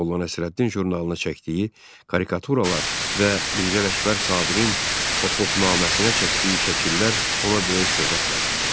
Molla Nəsrəddin jurnalına çəkdiyi karikaturalar və Mirzə Ələkbər Sabirin Hop-hopnaməsinə çəkdiyi şəkillər ona böyük şöhrət qazandırdı.